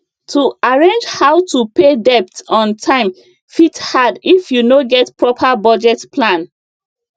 to arrange how to pay debt on time fit hard if you no get proper budget plan